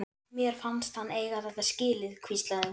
Mér fannst hann eiga þetta skilið- hvíslaði hún.